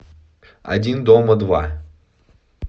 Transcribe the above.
один дома два